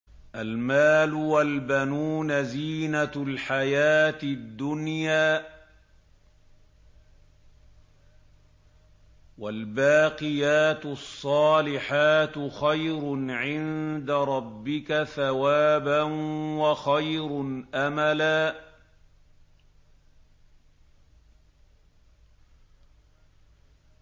الْمَالُ وَالْبَنُونَ زِينَةُ الْحَيَاةِ الدُّنْيَا ۖ وَالْبَاقِيَاتُ الصَّالِحَاتُ خَيْرٌ عِندَ رَبِّكَ ثَوَابًا وَخَيْرٌ أَمَلًا